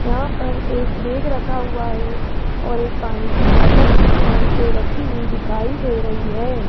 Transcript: यहां पर एक बैग रखा हुआ है और एक पानी की बॉटल भी किनारी पे रखी हुई दिखाई दे रही है।